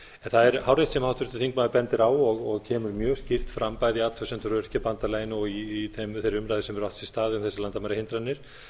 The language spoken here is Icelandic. það er hárrétt sem háttvirtur þingmaður bendir á og kemur mjög skýrt fram bæði athugasemdir öryrkjabandalaginu og í þeirri umræðu sem hefur átt sér stað um þessar landamærahindranir